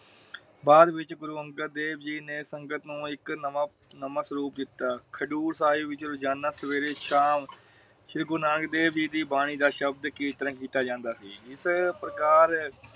ਬਾਦ ਵਿਚ ਗੁਰੂ ਅੰਗਦ ਦੇਵ ਜੀ ਨੇ ਸੰਗਤ ਨੂੰ ਇਕ ਨਵਾਂ ਸਰੂਪ ਦਿਤਾ। ਹਜ਼ੂਰ ਸਾਹਿਬ ਵਿਚ ਰੋਜਾਨਾ ਸਵੇਰੇ ਸ਼ਾਮ ਸ਼੍ਰੀ ਗੁਰੂ ਨਾਨਕ ਦੇਵ ਜੀ ਦੀ ਬਾਣੀ ਦਾ ਸ਼ਬਦ ਕੀਰਤਨ ਕੀਤਾ ਜਾਂਦਾ ਸੀ। ਜਿਸ ਪ੍ਰਕਾਰ